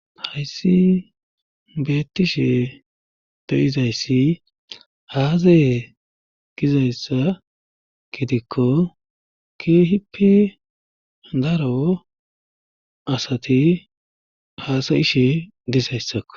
hayssi beettishe de7izayssi haaze gizayssa gidikko kihippe daro asati haasayishe dizayssakko